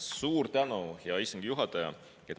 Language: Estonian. Suur tänu, hea istungi juhataja!